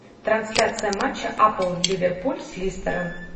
трансляция матча апл ливерпуль с лестером